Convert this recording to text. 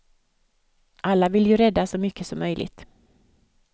Alla vill ju rädda så mycket som möjligt.